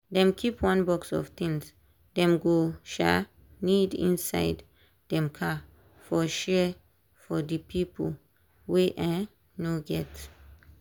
dem keep one box of things dem go um need inside dem car for share for di pipo wey um no get.